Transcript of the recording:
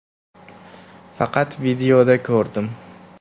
Faqat videoda ko‘rdim.